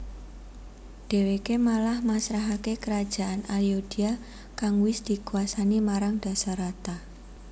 Dheweke malah masrahake Kerajaan Ayodya kang wis dikwasani marang Dasarata